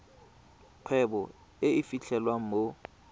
kgwebo e e fitlhelwang mo